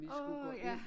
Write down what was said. Åh ja